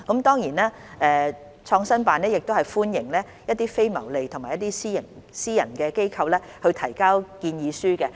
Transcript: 當然，創新辦亦歡迎一些非牟利和私營機構提交建議書。